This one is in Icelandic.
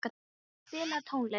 Addý, spilaðu tónlist.